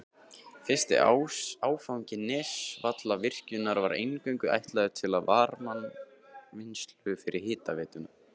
Fyrsti áfangi Nesjavallavirkjunar var eingöngu ætlaður til varmavinnslu fyrir hitaveituna.